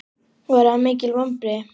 Voru það mikil vonbrigði?